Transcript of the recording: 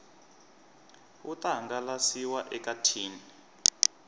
wu ta hangalasiwa eka tin